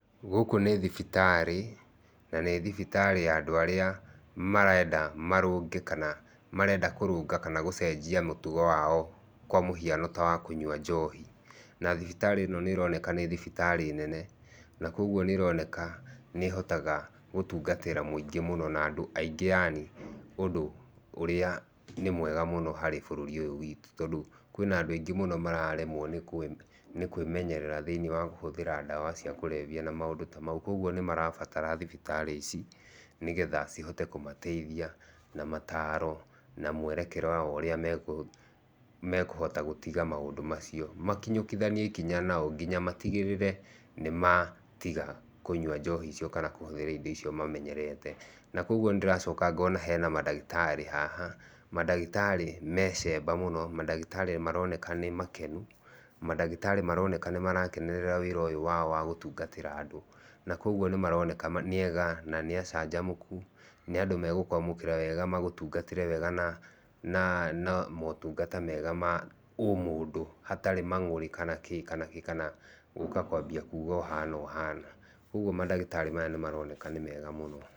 Gũkũ nĩ thibitarĩ, na nĩ thibitarĩ ya andũ arĩa marenda marũnge, kana marenda kũrũnga kana gũcenjia mĩtugo wao kwa mũhiano ta wa kũnyua njohi. Na thibitarĩ ĩno nĩ ĩroneka nĩ thibitarĩ nene, na koguo nĩ ĩroneka nĩ ĩhotaga gũtungatĩra mũingĩ mũno na andũ aingĩ yani ũndũ ũrĩa nĩ mwega mũno harĩ bũrũri ũyũ witũ, tondũ kwĩna andũ aingĩ mũno mararemwo nĩ kwĩmenyerera thĩinĩ wa kũhũthĩra ndawa cia kũrebia na maũndũ ta mau. Koguo nĩ marabatara thibitarĩ ici nĩ getha cihote kũmateithia na mataro na mwerekera wa ũrĩa mekũhota gũtiga maũndũ macio. Makinyũkithanie ikinya nao nginya matigĩrĩre nĩ matiga kũnyua njohi icio kana nĩmatiga kũhũthĩra indo icio mamenyerete. Na koguo nĩ ndĩracoka ngona hena mandagĩtarĩ haha mandagĩtarĩ mecemba mũno mandagĩtarĩ nĩ maroneka nĩ makenu mandagĩtarĩ nĩ maroneka nĩ marakenerera wĩra ũyũ wao wa gũtungatĩra andũ na koguo nĩ maroneka nĩ ega na nĩ acanjamũku nĩ andũ megũkũmwamũkĩra na magũtungate wega na motungata mega ma ũmũndũ hatarĩ mang'ũrĩ, kana kĩĩ kana kĩĩ kana gũka kwambia kuga ũhana ũhana. Koguo mandagĩtarĩ maya nĩ maroneka nĩ mega mũno.